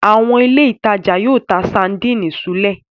Àwọn ilé-ìtajà yóò ta sadínì súlẹ̀.